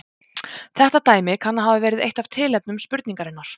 Þetta dæmi kann að hafa verið eitt af tilefnum spurningarinnar.